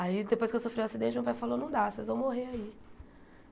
Aí, depois que eu sofri o acidente, o meu pai falou, não dá, vocês vão morrer aí.